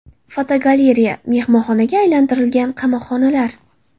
Fotogalereya: Mehmonxonaga aylantirilgan qamoqxonalar.